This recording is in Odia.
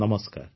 ନମସ୍କାର